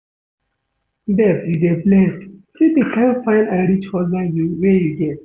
Babe you dey blessed, see the kin fine and rich husband wey you get